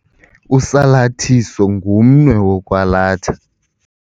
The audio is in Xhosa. Usalathiso ngumnwe wokwalatha.